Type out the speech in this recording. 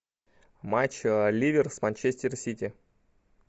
матч ливер с манчестер сити